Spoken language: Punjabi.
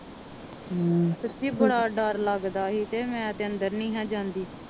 ਸਚਿ ਬੜਾ ਡਾਰ ਲਗਦਾ ਸੀ ਤੇ ਅੰਦਰ ਹੀ ਨਾ ਜਾਂਦੀ